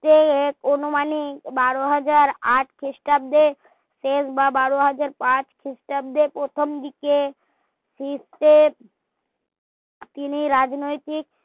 রূপে অনুমানিক বারো হাজার আট ক্রিস্টাব্দে শেষ বা বারো হাজার পাঁচ ক্রিস্টাব্দের প্রথম দিকে তিনি রাজনৈতিক